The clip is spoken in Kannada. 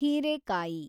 ಹೀರೇಕಾಯಿ